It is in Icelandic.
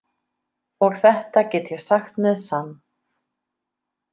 Og þetta get ég sagt með sann.